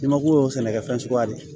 I mako y'o sɛnɛkɛ fɛn suguya de ye